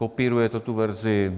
Kopíruje to tu verzi.